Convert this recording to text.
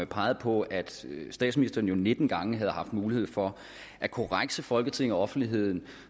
pegede på at statsministeren jo nitten gange havde haft mulighed for at korrekse folketinget og offentligheden